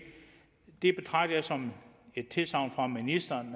som et tilsagn fra ministeren